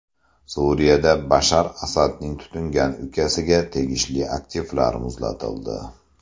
Suriyada Bashar Asadning tutingan ukasiga tegishli aktivlar muzlatildi.